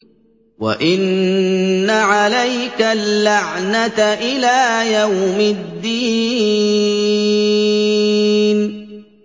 وَإِنَّ عَلَيْكَ اللَّعْنَةَ إِلَىٰ يَوْمِ الدِّينِ